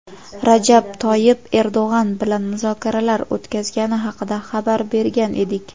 Rajab Toyib Erdo‘g‘an bilan muzokaralar o‘tkazgani haqida xabar bergan edik.